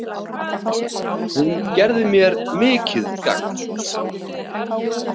Hún gerði mér mikið gagn.